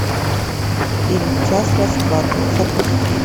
фильм час расплаты запусти